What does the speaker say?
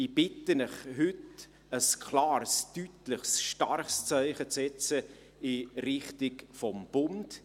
Ich bitte Sie, heute ein klares, deutliches, starkes Zeichen zu setzen in die Richtung des Bundes.